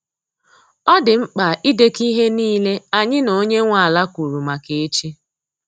Ọ dị mkpa idekọ ihe nile anyi na onye nwa ala kwuru maka echi